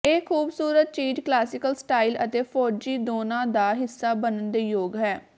ਇਹ ਖੂਬਸੂਰਤ ਚੀਜ਼ ਕਲਾਸੀਕਲ ਸਟਾਈਲ ਅਤੇ ਫੌਜੀ ਦੋਨਾਂ ਦਾ ਹਿੱਸਾ ਬਣਨ ਦੇ ਯੋਗ ਹੈ